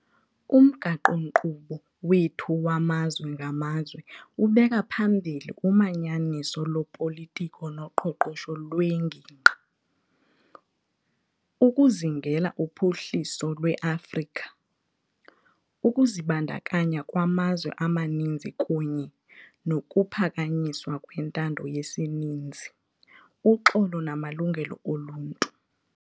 Umgaqo-nkqubo wethu wamazwe ngamazwe ubeka phambili umanyaniso lopolitiko noqoqosho lwengingqi, ukuzingela uphuhliso lweAfrika, ukuzibandakanya kwamazwe amaninzi kunye nokuphakanyiswa kwentando yesininzi, uxolo namalungelo oluntu.